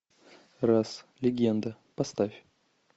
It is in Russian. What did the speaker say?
раз легенда поставь